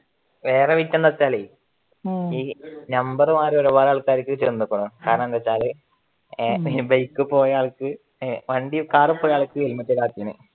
വേറെ വിറ്റ് എന്താന്ന് വെച്ചാലെ ഈ നമ്പർ മാറി ഒരു പാട് ആൾക്കാർക്ക് ചെന്നേക്കണ് കാരണം എന്താന്ന് വെച്ചാല് പിന്നെ ബൈക്കിൽ പോയെ ആനക്ക് വണ്ടി കാറിൽ പോയ ആൾക്ക് ഹെൽമെറ്റ് ഇല്ലാത്തതിന്